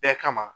Bɛɛ kama